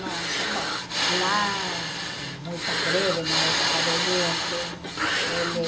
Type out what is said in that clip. Nós, bom, lá, muitas greves na época da gente. Ele